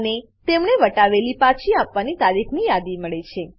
અને તેમણે વટાવેલી પાછી આપવાની તારીખની યાદી મળે છે